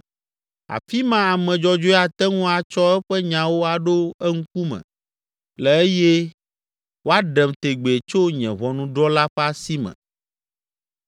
Afi ma ame dzɔdzɔe ate ŋu atsɔ eƒe nyawo aɖo eŋkume le eye woaɖem tegbee tso nye ʋɔnudrɔ̃la ƒe asi me.